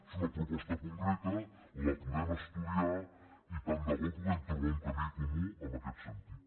és una proposta concreta la podem estudiar i tant de bo pu·guem trobar un camí comú en aquest sentit